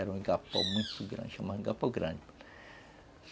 Era um igapó muito grande, chamava de igapó grande.